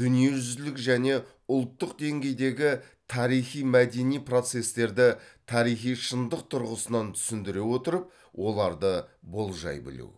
дүниежүзілік және ұлттық деңгейдегі тарихи мәдени процестерді тарихи шындық тұрғысынан түсіндіре отырып оларды болжай білу